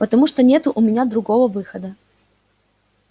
потому что нету у меня другого выхода